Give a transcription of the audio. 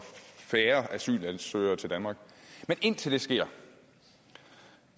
færre asylansøgere til danmark men indtil det sker